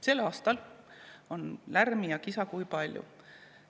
Sel aastal on lärmi ja kisa kui palju.